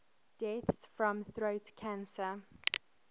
deaths from throat cancer